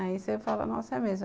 Aí você fala, nossa, é mesmo.